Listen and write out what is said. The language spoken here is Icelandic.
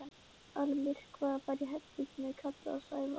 Almyrkvað var í herberginu og ég kallaði á Sævar.